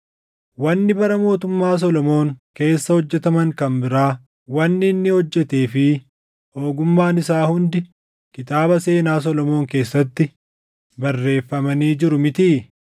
Wanni bara mootummaa Solomoon keessa hojjetaman kan biraa, wanni inni hojjetee fi ogummaan isaa hundi kitaaba seenaa Solomoon keessatti barreeffamanii jiru mitii?